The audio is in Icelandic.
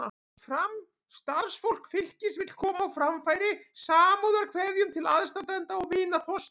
Starfsfólk Fylkis vill koma á framfæri samúðarkveðjum til aðstandenda og vina Þorsteins.